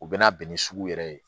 U bɛ na bɛn ni sugu yɛrɛ ye